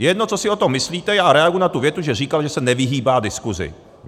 Je jedno, co si o tom myslíte, já reaguji na tu větu, že říkal, že se nevyhýbá diskusi.